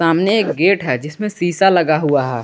अमने एक गेट है जिसमें शीशा लगा हुआ है।